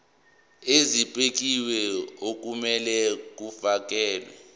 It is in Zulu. ezibekiwe okumele kufakelwe